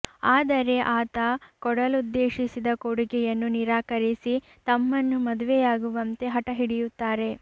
ಆದರೆ ಆತ ಕೊಡಲುದ್ದೇಶಿಸಿದ ಕೊಡುಗೆಯನ್ನು ನಿರಾಕರಿಸಿ ತಮ್ಮನ್ನು ಮದುವೆಯಾಗುವಂತೆ ಹಠ ಹಿಡಿಯುತ್ತಾರೆ